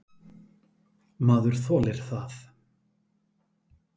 Maður þolir það.